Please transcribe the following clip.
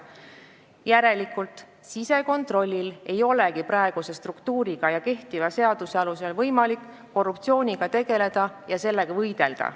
Järelikult ei olegi sisekontrollil praeguse struktuuri tõttu ja kehtiva seaduse alusel võimalik korruptsiooniga võidelda.